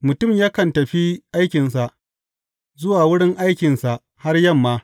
Mutum yakan tafi aikinsa, zuwa wurin aikinsa har yamma.